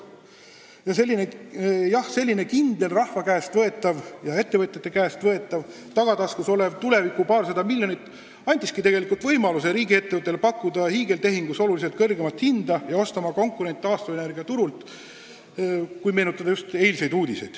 Jah, kui mõelda eilsetele uudistele, siis see kindel rahva ja ettevõtjate käest võetav tagataskus olev paarsada miljonit andiski riigiettevõttele võimaluse pakkuda hiigeltehingus oluliselt kõrgemat hinda ja oma konkurent taastuvenergiaturul ära osta.